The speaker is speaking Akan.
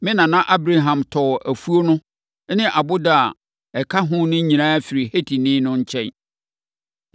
Me nana Abraham tɔɔ afuo no ne ɔboda a ɛka ho no nyinaa firii Hetifoɔ no nkyɛn.”